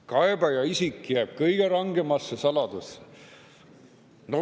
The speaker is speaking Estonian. Kaebaja isik jääb kõige rangemasse saladusse.